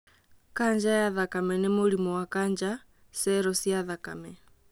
Kanja ya thakame nĩ mũrimũ wa kanja cero cia thakame.